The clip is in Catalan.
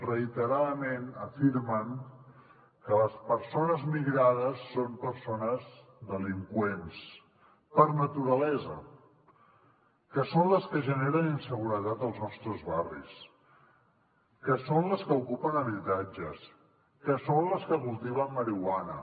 reiteradament afirmen que les persones migrades són persones delinqüents per naturalesa que són les que generen inseguretat als nostres barris que són les que ocupen habitatges que són les que cultiven marihuana